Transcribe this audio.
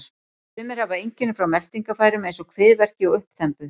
Sumir hafa einkenni frá meltingarfærum eins og kviðverki og uppþembu.